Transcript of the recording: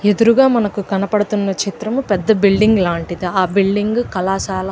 ఎదురుగా మనకు కనపడుతుంది చిత్రం పెద్ద బిల్డింగ్ లాంటిది ఆ బిల్డింగ్ ఒక కళశాల.